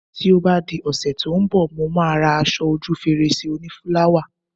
Ti o ba di òsè ti o n bò, Mo ma ra aso oju fèrèsé oni fúláwà